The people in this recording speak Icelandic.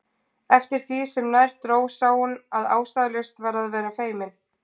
En eftir því sem nær dró sá hún að ástæðulaust var að vera feimin.